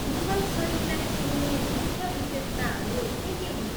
मुगल शैलीलाई चिनिने मुख्य विशेषताहरू के के हुन्?